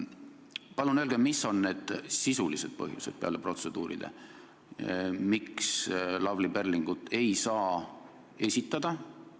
Palun öelge, mis on protseduuride kõrval need sisulised põhjused, miks Lavly Perlingut ei saa esitada!